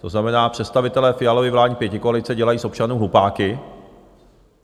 To znamená, představitelé Fialovy vládní pětikoalice dělají z občanů hlupáky.